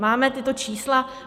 Máme tato čísla?